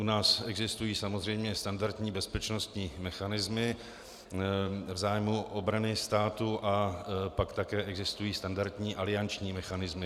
U nás existují samozřejmě standardní bezpečnostní mechanismy v zájmu obrany státu a pak také existují standardní alianční mechanismy.